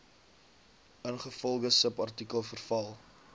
ingevolge subartikel verval